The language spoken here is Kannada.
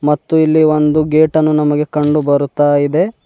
ಮತ್ತು ಇಲ್ಲಿ ಒಂದು ಗೇಟ್ ಅನ್ನು ನಮಗೆ ಕಂಡು ಬರುತ್ತಾ ಇದೆ.